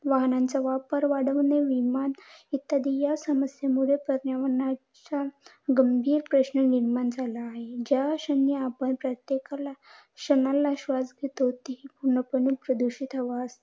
अस seventy होते fifty six बोललेले मला कोणीतरी .